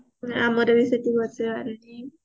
ଆମର ବି ସେଠି ବସେ ବାରେଣୀ